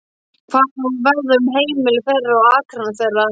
Hvað á að verða um heimili þeirra og akrana þeirra?